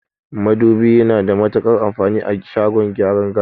Madubi yana da matuƙar amfani a shagon gyaran gashi